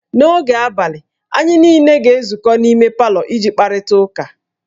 N'oge abalị, anyị niile ga-ezukọ n'ime palọ iji kparịta ụka